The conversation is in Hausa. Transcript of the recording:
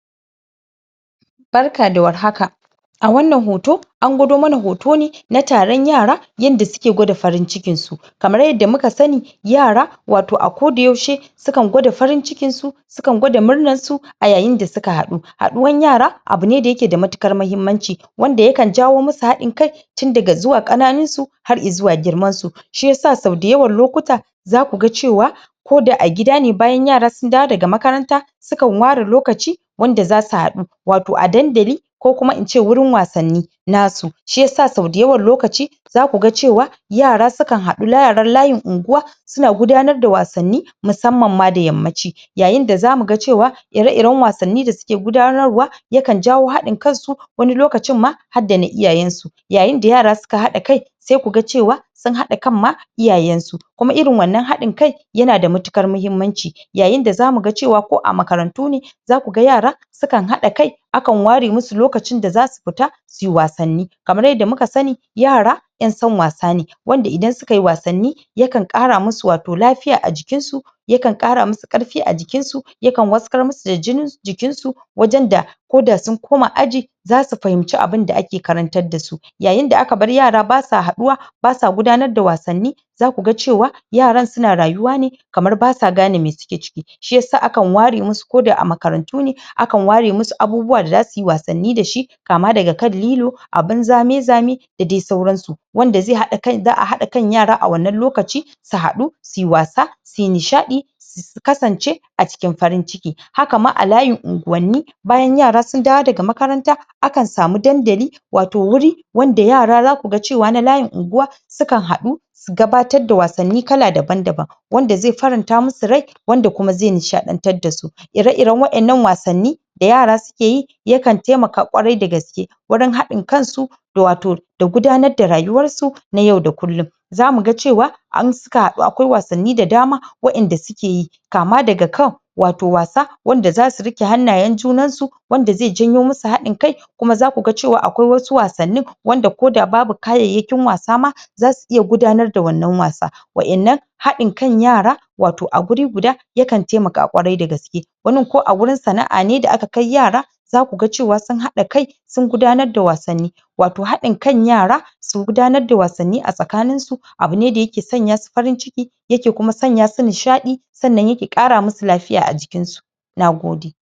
barka da war haka a wannan hoto angwado mana hoto ne na taran yara yanda suke gwada farin cikin su kamar yanda muka sani yara wato a ko da yaushe sukan gwada farin cikinsu sukan gwada murnarsu a yayin da suka haɗu haɗuwan yara abune da yake da matuƙar mahimmanci wanda yakan jawo musu haɗin kai tun daga zuwa ƙananinsu har zuwa girmansu shiyasa sau da yawan lokuta zaku ga cewa ko da a gida ne bayan yara sun dawo daga makaranta sukan ware lokaci wanda zasu haɗu wato a dandali ko kuma ince wurin wasannin nasu shiyasa sau da yawan lokaci zaku ga cewa yara sukan haɗu yaran layin unguwa suna gudanar da wasanni musamman ma da yammaci yayin da zamu ga cewa ire iran wasanni da suke gudanarwa yakan jawo hadin kansu wani lokacin ma har da na iyayansu yayin da yara suka haɗa kai sai kuga cewa sun haɗa kan ma iyayansu kuma irin wannan haɗin kan yana da matuƙar mahimmanci yayin da zamu ga cewa ko a makarantu ne zaku ga yara sukan haɗa kai akan ware musu lokacin da zasu fita suyi wasanni kamar yanda muka sani yara ƴan san wasa ne wanda idan sukayi wasanni yakan ƙara musu wato lafiya a jinin jikinsu yakan ƙara musu ƙarfe a jikinsu yakan waskar musu da jinin jikinsu wajan da ko da sun koma aji zasu fahimci abunda ake karantar dasu yayin da aka bar yara basa haɗuwa basa gudanar da wasanni za ku ga cewa yaran suna rayuwa ne kamar basa gane me suke ciki shiyasa akan ware musu ko da a makarantu ne akan ware musu abubuwa da zasu yi wasanni dashi kama daga kan lilo abun zame zame da dai sauransu wanda za a haɗa kan yara a wannan lokaci su haɗu suyi wasa suyi nishaɗi su kasance a cikin farin ciki haka ma a layin unguwanni bayan yara sun dawo daga makaranta akan samu dandali wato wuri wanda yara zaku ga cewa na layin unguwa sukan haɗu su gabatar da wasanni kala daban daban wanda zai faran ta musu rai wanda kuma zai nishaɗantar dasu ire iran wa innan wasanni da yara suke yi yakan taimaka ƙwarai dagaske wurin haɗin kansu da wato gudanar da rayuwarsu na yau da kullin zamu ga cewa in suka haɗu akwai wasanni da dama wa inda sukeyi kama daga kan wato wasa wanda zasu riƙe hannayan junansu wanda zai janyo musu haɗin kai kuma zaku ga cewa akwai wasu wasannin wanda ko da babu kayayyakin wasa ma zasu iya gudanar da wannan wasa wa innan haɗin kan yara wato a guri guda yakan taimaka ƙwarai da gaske wanin ko a wurin sana'a ne da aka kai yara zaku ga cewa sun haɗa kai sun gudanar da wasanni wato haɗin kan yara su gudanar da wasanni a tsakaninsu abune da yake sanyasu farin cikin yake sanyasu nishaɗi sannan yake ƙara musu lafiya a jikinsu nagode